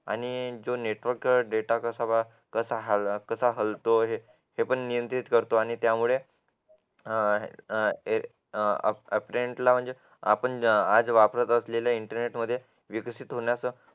आणि जो network data कसा हलतोय हे पण ते पण नियंत्रित करतो आणि त्यामुळे अं आपण आज वापरत असलेल्या इंटरनेट विकसित होण्याचा